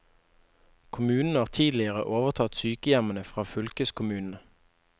Kommunene har tidligere overtatt sykehjemmene fra fylkeskommunene.